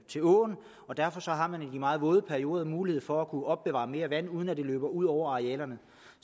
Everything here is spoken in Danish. til åen og derfor har man i de meget våde perioder mulighed for at kunne opbevare mere vand uden at det løber ud over arealerne